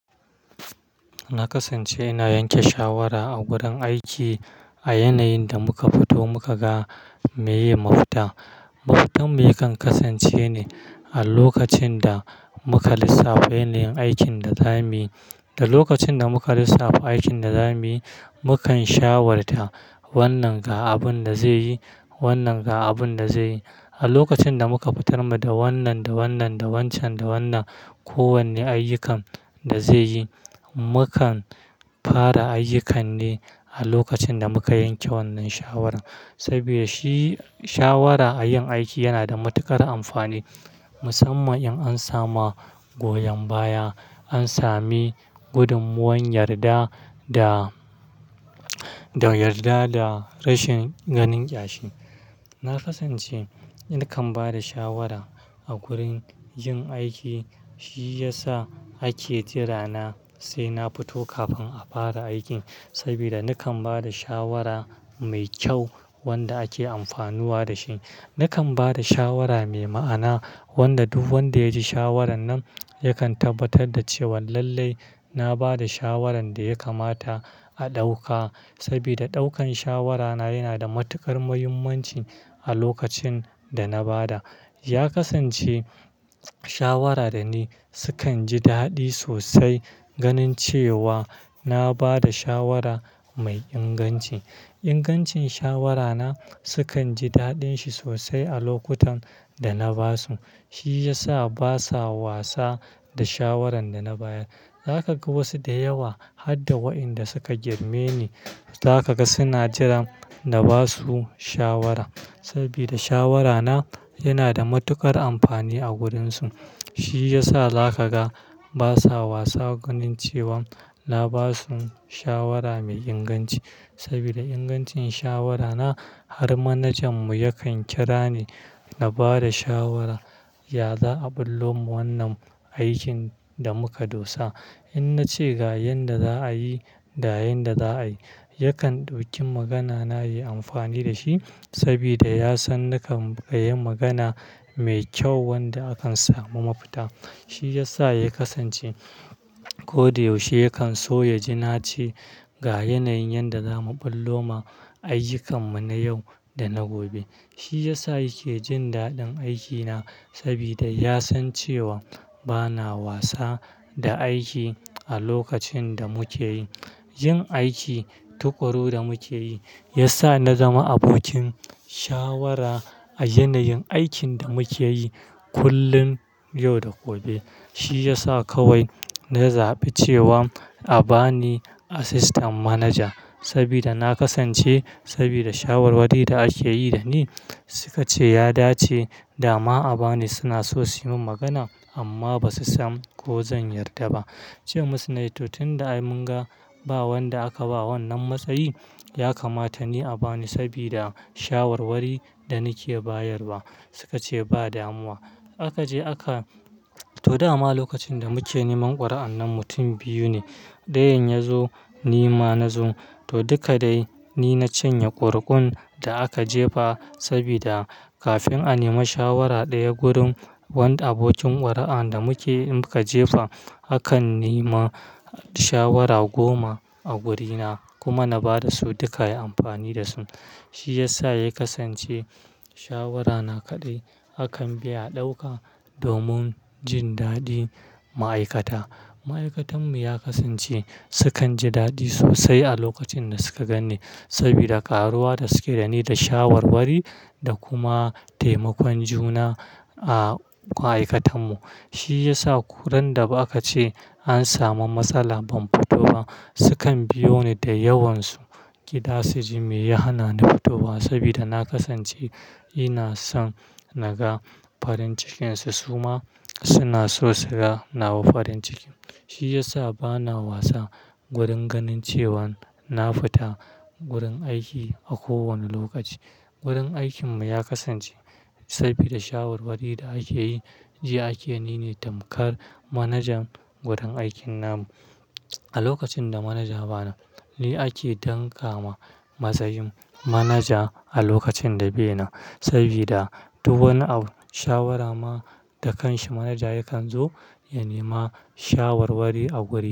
Na kasance ina yanke shawara a gurin aiki a yanayin da muka fito muka ga meye mafita. Mafitarmu yakan kasance ne a lokacin da muka lissafa yanayin aikin da zamuyi. Da lokacin da muka lissafa aikin da zamuyi, mu kan shawarta wannan ga abin da zai yi, wannan ga abin da zai yi. A lokacin da muka fitar da wannan da wannan, da wancan da wannan, kowane ayyukan da zai yi, mukan fara ayyukan ne a lokacin da muka yanke wannan shawara. Saboda shi shawara a yin aiki yana da matuƙar amfani musamman in an samu goyon baya, an sami gudunmuwar yarda da, da yarda da rashin ganin ƙyashi. Na kasance nakan ba da shawara a gurin yin aiki shi yasa ake jira na sai na fito kafin a fara aikin. Saboda nakan ba da shawara mai kyau wanda ake amfanuwa da shi. Nakan ba da shawara mai ma'ana wanda duk wanda ya ji shawaran nan yakan tabbatar da cewa lallai na ba da shawaran da ya kamata a ɗauka. Saboda ɗaukan shawarana yana da matuƙar muhimmanci a lokacin da na ba da. Ya kasance shawara dani sukan ji daɗi sosai ganin cewa na ba da shawara mai inganci. Ingancin shawarana sukan ji daɗin shi sosai a lokutan da na basu. Shi yasa basa wasa da shawaran da na bayar. Za ka ga wasu da yawa har da wa inda suka girme ni, za ka ga suna jiran na ba su shawara. Saboda shawarana yana da matuƙar amfani a gurinsu. Shi yasa za ka ga basa wasa ganin cewa na basu shawara mai inganci. Saboda ingancin shawarana har manajanmu yakan kira ni na bada shawara, ya za a ɓullo ma wannan aikin da muka dosa. In nace ga yanda za a yi da yanda za a yi, yakan ɗauki magana na yi amfani da shi. Saboda ya san nakan yi magana mai kyau wanda akan samu mafita. Shi yasa ya kasance ko da yaushe yakan so ya ji nace ga yanayin yanda zamu ɓullo ma ayyukanmu na yau da na gobe. Shi yasa yake jin daɗin aikina saboda ya san cewa bana wasa da aiki a lokacin da muke yi. Yin aiki tuƙuru da muke yi ya sa na zama abokin shawara a yanayin aikin da muke yi kullum, yau da gobe. Shi yasa kawai na zaɓi cewa a bani Assistant Manager sabida na kasance sabida shawarwari da ake yi dani. Suka ce ya dace dama a bani, suna so su yi min magana amma ba su san ko zan yarda ba. Ce musu "Nai to tin da mun ga ba wanda aka ba wannan matsayi, ya kamata ni a bani saboda shawarwari da nake bayarwa." Suka ce ba damuwa. Aka je aka! To dama lokacin da muke neman ƙuri'an nan mutum biyu ne, ɗayan ya zo ni ma na zo. To duka dai ni na cinye ƙuriƙun da aka jefa saboda kafin a nema shawara ɗaya gurin wanda abokin ƙuri'an da muke muka jefa, akan nema shawara goma a wurina kuma na ba da su duka, ya amfani da su. Shi yasa ya kasance shawara na kaɗai akan bi a ɗauka domin jin daɗin ma'aikata. Ma'aikatanmu ya kasance sukan ji daɗi sosai a lokacin da suka gani saboda ƙaruwa da suke da ni da shawarwari da kuma taimakon juna a ma'aikatanmu. Shi yasa ko ran da aka ce an samu matsala ban fito ba, sukan biyo ni da yawansu gida su ji me ya hana ni futowa saboda na kasance ina son na ga farin cikin su su ma suna so su ga nawa farin cikin. Shi yasa bana wasa gurin ganin cewa na fita gurin aiki a kowane lokaci. Gurin aikin mu ya kasance saboda shawarwari da ake yi, jiya ake ninevtamkar manajan gurin aikin namu. A lokacin da manaja ba ya nan, ni ake damƙa matsayin manaja a lokacin da be nan. Saboda duk wani abu shawara ma da kanshi manaja yakan zo ya nema shawarwari a gurina.